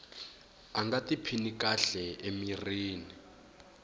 a nga tiphini kahle emirini